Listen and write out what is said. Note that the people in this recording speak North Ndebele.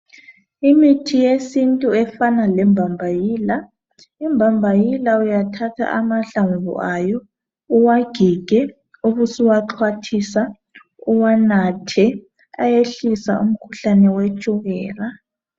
Imithi yesintu efana lembambayila, imbambayila uyathatha amahlamvu ayo uwagige ubusuwaxhwathisa uwanathe ayehlisa umkhuhlane wetshukela.